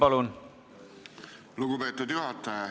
Aitäh, lugupeetud juhataja!